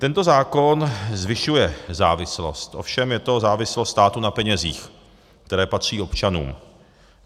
Tento zákon zvyšuje závislost, ovšem je to závislost státu na penězích, které patří občanům.